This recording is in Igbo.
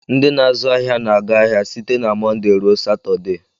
Ndị na-azu ahịa na-aga ahịa site na Mọnde ruo Satọde.